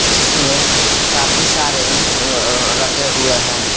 जिसमें काफी सारे अह अह रखे हुए हैं।